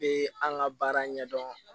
Bɛ an ka baara ɲɛdɔn